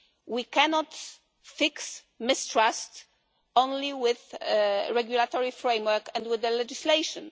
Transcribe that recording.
We cannot fix mistrust only with a regulatory framework and with legislation.